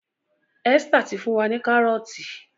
Esther tí fún wá ní Kárọ́ọ̀tì